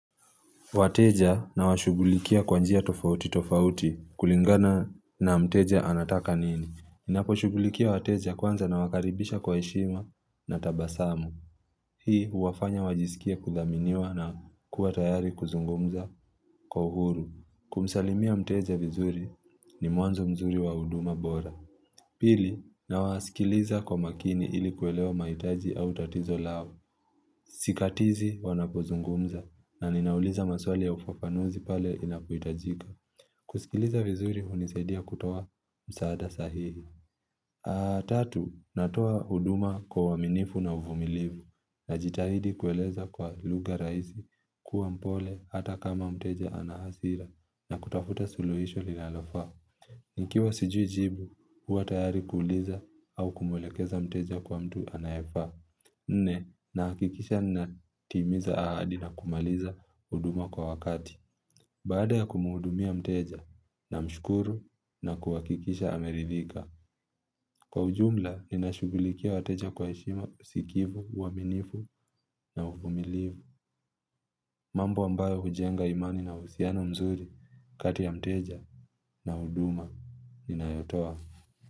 Wateja na washugulikia kwanjia tofauti tofauti kulingana na mteja anataka nini. Ninapo shugulikia wateja kwanza na wakaribisha kwa heshima na tabasamu. Hii huwafanya wajisikie kuthaminiwa na kuwa tayari kuzungumza kwa uhuru. Kumsalimia mteja vizuri ni mwanzo mzuri wa huduma bora. Pili nawasikiliza kwa makini ili kuelewa mahitaji au tatizo lao. Sikatizi wanapozungumza na ninauliza maswali ya ufafanuzi pale inapohitajika kusikiliza vizuri hunisadia kutoa msaada sahihi tatu, natoa huduma kwa uaminifu na uvumilivu Najitahidi kueleza kwa lugha rahisi kuwa mpole hata kama mteja anahasira na kutafuta suluhisho linalofaa Nkiwa sijui jibu huwa tayari kuuliza au kumulekeza mteja kwa mtu anayefaa Nne nahakikisha natimiza ahadi na kumalizahuduma kwa wakati Baada ya kumwuudumia mteja na mshukuru na kuhakikisha ameridhika Kwa ujumla ninashugulikia wateja kwa heshima usikivu, uaminifu na uvumilivu mambo ambayo hujenga imani na uhusiano mzuri kati ya mteja na huduma inayotoa.